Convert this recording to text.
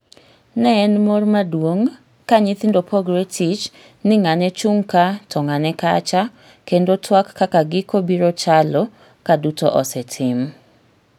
Ne en mor maduong' kanyithindo pogre tich ni ng'ane chung' kaa to ng'ane kacha, kendo tuak kaka giko biro chalo kaduto osetim.